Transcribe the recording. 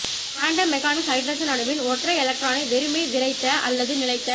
quantum மெக்கானிக்ஸில் hydrogen அணுவின் ஒற்றை எலக்ட்ரானை வெறுமே விறைத்த அல்லது நிலைத்த